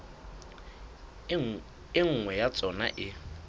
e nngwe ya tsona e